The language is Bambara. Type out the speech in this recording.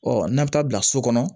Ɔ n'a bɛ taa bila so kɔnɔ